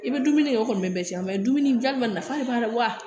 I bɛ dumuni kɛ o kɔni bɛ bɛɛ cɛn dumuni jaabi ma nafa de b'a la wa